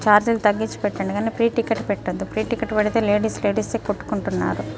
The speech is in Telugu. చార్జెస్ తగ్గిచి పెట్టండి కానీ ఫ్రీ టికెట్ పెట్టదు ఫ్రీ టికెట్ పెడితే లేడీస్ లేడీస్ ఎహ్ కొట్టుకుంటున్నారు.